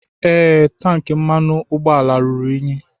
Ee, tank mmanụ ụgbọala ruru unyi.